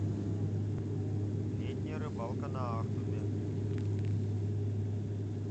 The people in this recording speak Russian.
летняя рыбалка на ахтубе